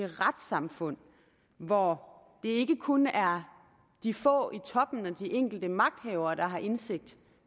retssamfund hvor det ikke kun er de få i toppen og de enkelte magthavere der har indsigt